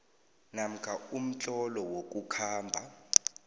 namkha umtlolo wokukhamba